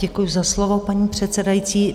Děkuji za slovo, paní předsedající.